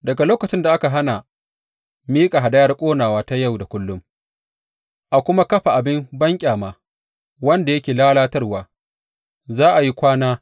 Daga lokacin da za a hana miƙa hadayar ƙonawa ta yau da kullum, a kuma kafa abin banƙyama, wanda yake lalatarwa, za a yi kwana